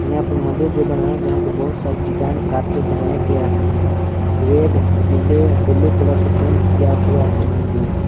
यहां पे मंदिर जो बनाया गया है जो बहुत सारी डिजाइन काट के बनाया गया है रेड पीले ब्लू कलर से पेंट किया हुआ है मंदिर।